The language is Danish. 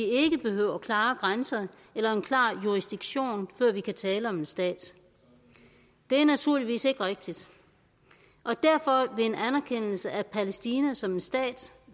ikke behøver klare grænser eller en klar jurisdiktion før vi kan tale om en stat det er naturligvis ikke rigtigt og derfor vil en anerkendelse af palæstina som en stat